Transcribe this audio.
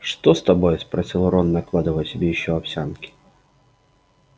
что с тобой спросил рон накладывая себе ещё овсянки